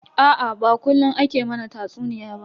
Aa ba kullun ake mana tatsuniya ba.